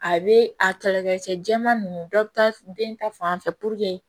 A bɛ a kɛlɛ kɛ cɛ jɛman ninnu dɔ bɛ taa den ta fan fɛ